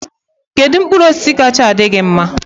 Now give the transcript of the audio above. Kedu mkpụrụ osisi kacha adị gi mma?